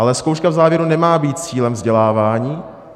Ale zkouška v závěru nemá být cílem vzdělávání.